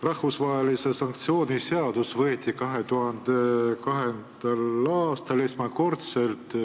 Rahvusvahelise sanktsiooni seadus võeti esimest korda vastu 2002. aastal.